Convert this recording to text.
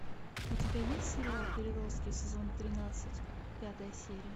у тебя есть сериал переростки сезон тринадцать пятая серия